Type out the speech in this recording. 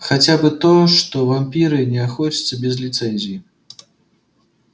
хотя бы то что вампиры не охотятся без лицензии